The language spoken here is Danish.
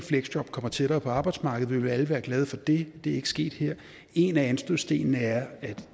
fleksjob kommer tættere på arbejdsmarkedet vil vi alle være glade for det det er ikke sket her en af anstødsstenene er at